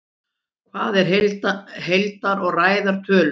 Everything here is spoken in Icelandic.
Hvað eru heilar og ræðar tölur?